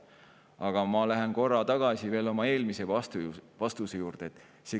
Aga ma lähen korra tagasi veel oma eelmise vastuse juurde.